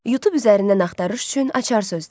YouTube üzərindən axtarış üçün açar sözlər: